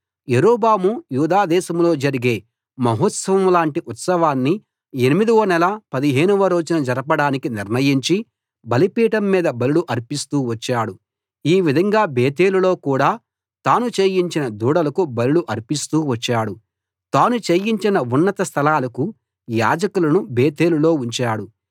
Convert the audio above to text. యరొబాము యూదా దేశంలో జరిగే మహోత్సవం లాంటి ఉత్సవాన్ని ఎనిమిదవ నెల పదిహేనవ రోజున జరపడానికి నిర్ణయించి బలిపీఠం మీద బలులు అర్పిస్తూ వచ్చాడు ఈ విధంగా బేతేలులో కూడా తాను చేయించిన దూడలకు బలులు అర్పిస్తూ వచ్చాడు తాను చేయించిన ఉన్నత స్థలాలకు యాజకులను బేతేలులో ఉంచాడు